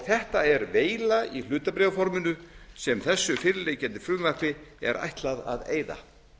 þetta er veila í hlutabréfaforminu sem þessu fyrirliggjandi frumvarpi er ætlað að eyða